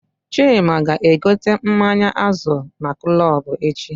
Chima ga egote mmanya Azul na Club echi